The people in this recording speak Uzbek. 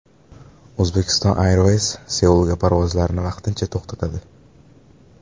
Uzbekistan Airways Seulga parvozlarni vaqtincha to‘xtatadi.